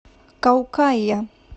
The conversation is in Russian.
каукая